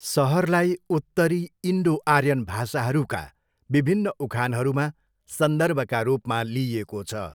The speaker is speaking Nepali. सहरलाई उत्तरी इन्डो आर्यन भाषाहरूका विभिन्न उखानहरूमा सन्दर्भका रूपमा लिइएको छ।